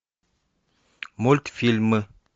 мультфильмы